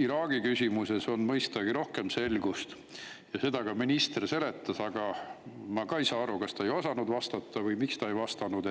Iraagi küsimuses on mõistagi rohkem selgust ja seda ka minister seletas, aga ma ka ei saa aru, kas ta ei osanud vastata või miks ta ei vastanud,